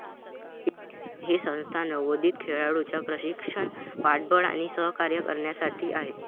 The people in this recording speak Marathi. ही संस्था नवोदित खेळाडूंचे प्रशिषक, पाठबळ आणि सहकार्य करण्यासाठी आहे.